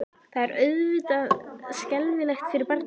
Það er auðvitað skelfilegt fyrir barnið.